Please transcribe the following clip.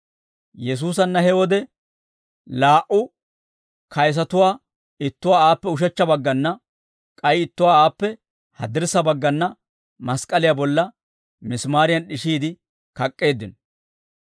Yesuusanna he wode laa"u kayisatuwaa ittuwaa aappe ushechcha baggana, k'ay ittuwaa aappe haddirssa baggana, mask'k'aliyaa bolla misimaariyan d'ishiide kak'k'eeddino.